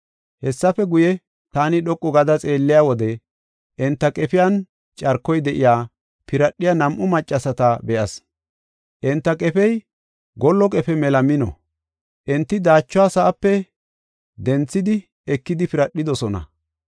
Hessafe guye taani dhoqu gada xeelliya wode enta qefiyan carkoy de7iya, piradhiya nam7u maccasata be7as. Enta qefey gollo qefe mela mino; enti daachuwa sa7ape dinthidi ekidi piradhidosona.